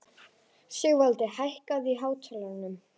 Sigvaldi, hækkaðu í hátalaranum.